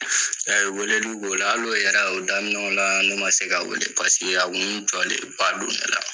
weleli b'o la, hal'o yɛrɛ, o daminɛ la, ne ma se ka weele jɔlenba don ne la.